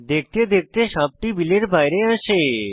দেখতে দেখতে সাপটি বিলের বাইরে আসে